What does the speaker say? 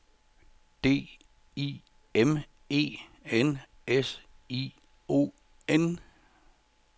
D I M E N S I O N